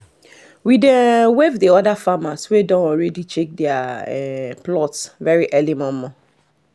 we dey um wave the other farmers um wey don already dey check their um plot very early momo